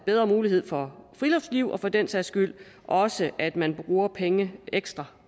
bedre muligheder for friluftsliv og for den sags skyld også at man bruger penge ekstra